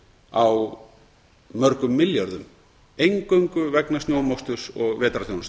á mörgum milljörðum eingöngu vegna snjómoksturs og vetrarþjónustu